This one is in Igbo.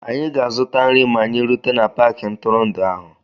Anyị ga-azụta nri ma anyị rute na paakị ntụrụndụ ahụ.